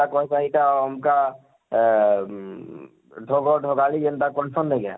ଇଟା ଅମକା ଆଁ ଉଃ କହେସନ ନେଇଁ କାଏଁ?